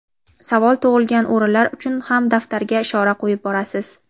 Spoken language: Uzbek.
savol tug‘ilgan o‘rinlar uchun ham daftarga ishora qo‘yib borasiz.